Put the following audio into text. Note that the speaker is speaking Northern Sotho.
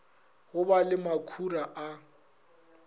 go ba le makhura a